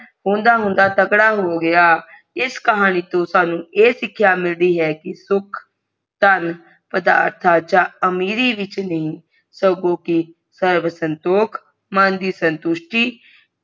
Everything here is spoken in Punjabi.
ਹੁੰਦਾ ਹੁੰਦਾ ਤਗੜਾ ਹੋ ਗਯਾ ਇਸ ਕਹਾਣੀ ਤੋਂ ਸਾਨੂ ਇ ਸਿੱਖਿਆ ਮਿਲਦੀ ਹੈ ਕਿ ਸੁਖ ਥਨ ਪਦਾਰਥਾਂ ਜਾ ਅਮੀਰੀ ਵਿੱਚ ਨਹੀਂ ਸਗੋਂ ਕਿ ਸ੍ਰਵਸੰਤੋਕ ਮਨ ਦੀ ਸੰਤੁਸ਼ਟੀ